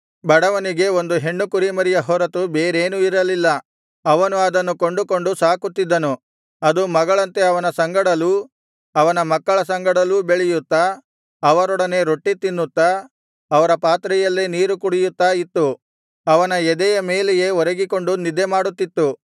ಬಡವನಿಗೆ ಒಂದು ಹೆಣ್ಣು ಕುರಿಮರಿಯ ಹೊರತು ಬೇರೇನೂ ಇರಲಿಲ್ಲ ಅವನು ಅದನ್ನು ಕೊಂಡುಕೊಂಡು ಸಾಕುತ್ತಿದ್ದನು ಅದು ಮಗಳಂತೆ ಅವನ ಸಂಗಡಲೂ ಅವನ ಮಕ್ಕಳ ಸಂಗಡಲೂ ಬೆಳೆಯುತ್ತಾ ಅವರೊಡನೆ ರೊಟ್ಟಿ ತಿನ್ನುತ್ತಾ ಅವರ ಪಾತ್ರೆಯಲ್ಲೇ ನೀರು ಕುಡಿಯುತ್ತಾ ಇತ್ತು ಅವನ ಎದೆ ಮೇಲೆಯೇ ಒರಗಿಕೊಂಡು ನಿದ್ದೆ ಮಾಡುತ್ತಿತ್ತು